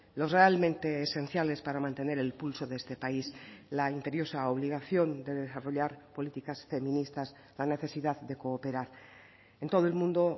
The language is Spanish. los realmente esenciales para mantener el pulso de este país la imperiosa obligación de desarrollar políticas feministas la necesidad de cooperar en todo el mundo